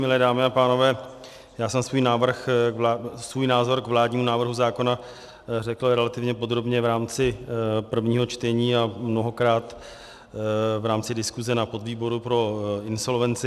Milé dámy a pánové, já jsem svůj názor k vládnímu návrhu zákona řekl relativně podrobně v rámci prvního čtení a mnohokrát v rámci diskuze na podvýboru pro insolvenci.